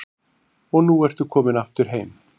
Og nú ertu komin aftur heim?